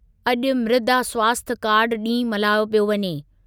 अॼु मृदा स्वास्थ्य कार्डु ॾींहुं मल्हायो पियो वञे।